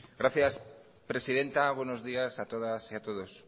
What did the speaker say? gracias presidenta buenos días a todas y a todos